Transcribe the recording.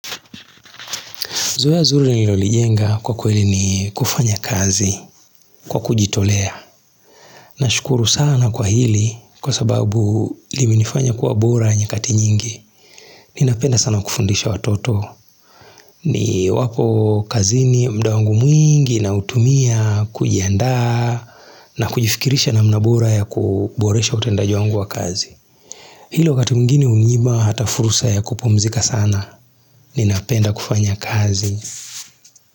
Zoea zuri nilolijenga kwa kweli ni kufanya kazi kwa kujitolea. Nashukuru sana kwa hili kwa sababu limenifanya kuwa bora nyakati nyingi. Ninapenda sana kufundisha watoto. Niwapo kazini muda wangu mwingi nautumia kujiandaa na kujifikirisha namna bora ya kuboresha utendaji wangu wa kazi. Hilo wakati mwingine hunyima hata fursa ya kupumzika sana. Ninapenda kufanya kazi.